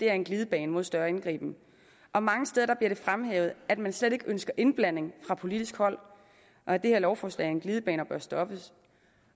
er en glidebane mod større indgriben og mange steder bliver det fremhævet at man slet ikke ønsker indblanding fra politisk hold og at det her lovforslag er en glidebane og bør stoppes